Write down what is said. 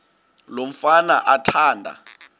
lo mfana athanda